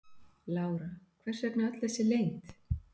Lára: Hvers vegna öll þessi leynd?